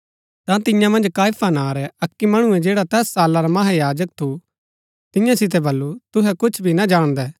ता तियां मन्ज काइफा नां रै अक्की मणुऐ जैडा तैस साला रा महायाजक थू तियां सितै बल्लू तुहै कुछ भी ना जाणदै